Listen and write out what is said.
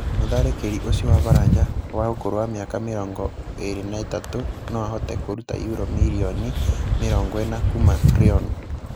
Mũtharĩkĩri ũcio wa Baranja, wa ũkũrũ wa mĩaka mĩrongoĩrĩ-na-ĩtatu noahote kũrũta yuro mirioni mĩrongoĩna kuuma Reon.